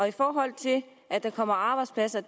i forhold til det at der kommer arbejdspladser